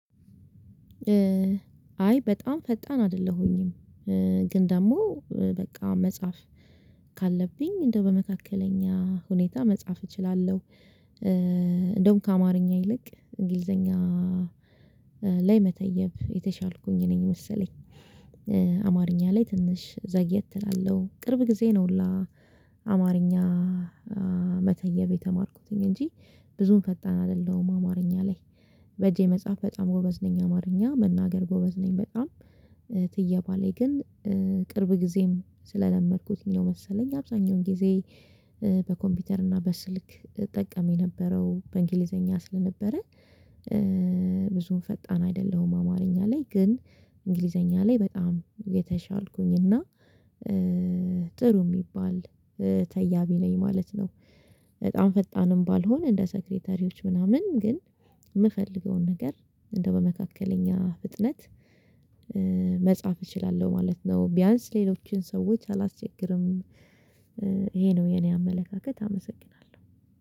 አይ በጣም ፈጣን አይደለሁኝም። ግን ደግሞ በቃ መጻፍ ካለብኝ እንደው በመካከለኛ ሁኔታ መጻፍ እችላለሁ እንደውም ከአማርኛ ይልቅ እንግሊዘኛ ላይ መተየብ የተሻልኩኝ ነኝ መሰለኝ። አማርኛ ላይ ትንሽ ዘግየት እላለሁ ቅርብ ጊዜ ነው ሁላ አማርኛ መተየብ የተማርኩትኝ እንጂ ብዙም ፈጣን አይደለሁም። አማርኛ ላይ በእጄ መጽሐፍ በጣም ጎበዝ ነኝ አማርኛ መናገር ጎበዝ ነኝ በጣም ትየባ ላይ ግን ቅርብ ጊዜም ስለለመድኩት ነው መሰለኝ። አብዛኛውን ጊዜ በኮምፒውተር እና በስልክ እጠቀም የነበረው በእንግሊዘኛ ስለነበረ ብዙም ፈጣን አይደለሁም። አማርኛ ላይ ግን እንግሊዘኛ ላይ በጣም የተሻልኩኝ እና ጥሩ የሚባል ተያቢ ነኝ ማለት ነው። በጣም ፈጣንም ባልሆን እንደ ሴክሬተሪዎች ምናምን ግን የምፈልገውን ነገር እንደው በመካከለኛ ፍጥነት መጻፍ እችላለሁ ማለት ነው። ቢያንስ ሌሎችን ሰዎች አላስቸግርም ይሄ ነው የኔ አመለካከት። አመሰግናለሁ